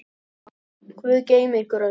Guð geymi ykkur öll.